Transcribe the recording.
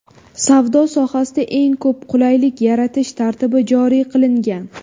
Savdo sohasida eng ko‘p qulaylik yaratish tartibi joriy qilingan.